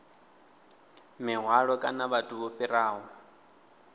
mihwalo kana vhathu vho fhiraho